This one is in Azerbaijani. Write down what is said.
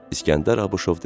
İsgəndər Abışov dedi.